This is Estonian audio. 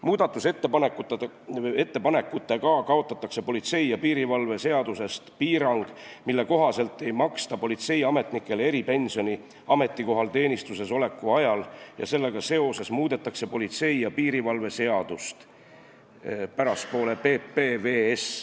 Muudatusettepanekutega kaotatakse politsei ja piirivalve seadusest piirang, mille kohaselt ei maksta politseiametnikele eripensioni ametikohal teenistuses oleku ajal, ning sellega seoses muudetakse politsei ja piirivalve seadust .